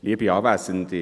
Bitte, Herr Löffel.